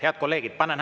Head kolleegid!